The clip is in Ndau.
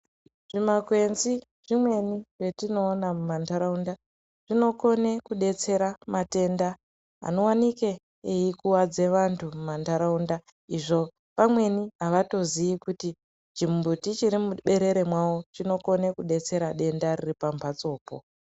Twumakwenzi twumweni twetinoona mumantaraunda tunokone kudetsera matenda anowanike eikuwadze vantu kumantaraunda izvo amweni havatozivi kuti chimbuti chirimuberere mavo chinokone kudetsera denda riripamhatsopo.